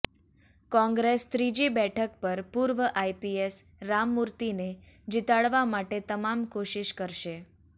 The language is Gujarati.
કોંગ્રેસ ત્રીજી બેઠક પર પૂર્વ આઈપીએસ રામમૂર્તિને જીતાડવા માટે તમામ કોશિશ કરશે